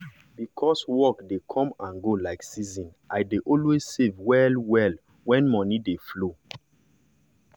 because work dey come and go like season i dey always save well-well when money dey flow.